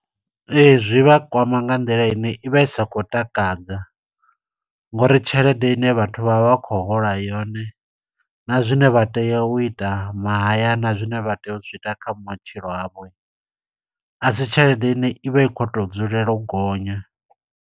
Ee, zwi vha kwama nga nḓila ine i vha i sa khou takadza, ngo uri tshelede ine vhathu vha vha khou hola yone, na zwine vha tea u ita mahayani, na zwine vha tea u zwi ita kha matshilo avho. A si tshelede ine ivha i khou to dzulela u gonya.